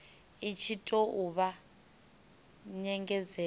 i tshi tou vha nyengedzedzo